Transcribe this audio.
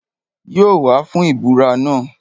Yóò wá fún ìbúra náà